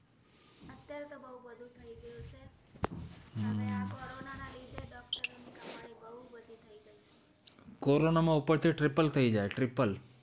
corona માં તો ઉપરથી tripal થઇ જાય triple